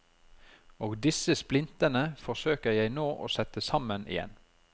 Og disse splintene forsøker jeg nå å sette sammen igjen.